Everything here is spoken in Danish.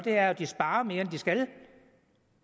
er at de sparer mere end de skal